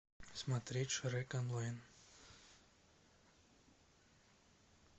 смотреть шрек онлайн